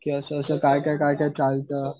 की असं असं काय काय चालतं